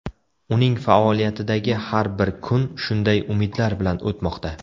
Uning faoliyatidagi har bir kun shunday umidlar bilan o‘tmoqda.